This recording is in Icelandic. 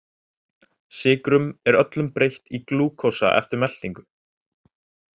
Sykrum er öllum breytt í glúkósa eftir meltingu.